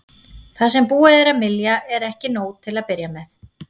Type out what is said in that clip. Það sem búið er að mylja er ekki nóg til að byrja með.